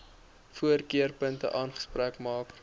voorkeurpunte aanspraak maak